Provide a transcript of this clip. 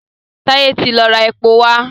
Taye tí lọ rá èpo wá.